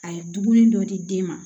A ye dumuni dɔ di den ma